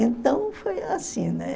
Então foi assim, né?